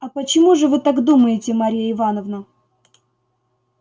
а почему же вы так думаете марья ивановна